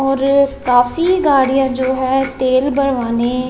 और काफी गाड़ियां जो है तेल भरवाने--